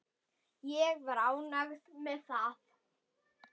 Ég var ánægð með það.